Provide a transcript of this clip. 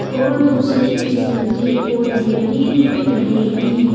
और दूसरे किसिम के पोधे भी दिख रहे हें ।